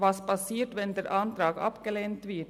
Was passiert, wenn der Antrag abgelehnt wird?